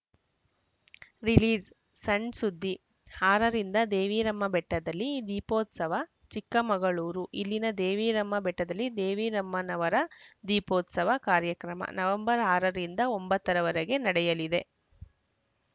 release ಸಣ್‌ಸುದ್ದಿ ಆರರಿಂದ ದೇವಿರಮ್ಮ ಬೆಟ್ಟದಲ್ಲಿ ದೀಪೋತ್ಸವ ಚಿಕ್ಕಮಗಳೂರು ಇಲ್ಲಿನ ದೇವಿರಮ್ಮನ ಬೆಟ್ಟದಲ್ಲಿ ದೇವೀರಮ್ಮನವರ ದೀಪೋತ್ಸವ ಕಾರ್ಯಕ್ರಮ ನವೆಂಬರ್ ಆರ ರಿಂದ ಒಂಬತ್ತರವರೆಗೆ ನಡೆಯಲಿದೆ